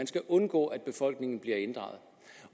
skal undgå at befolkningen bliver inddraget